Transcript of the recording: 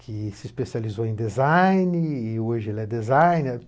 que se especializou em design e hoje é designer.